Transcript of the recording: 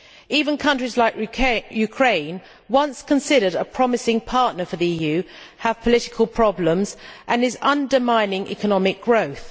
Even countries like Ukraine, once considered a promising partner for the EU, has political problems and is undermining economic growth.